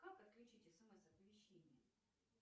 как отключить смс оповещение